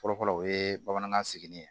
Fɔlɔfɔlɔ o ye bamanankan sigili ye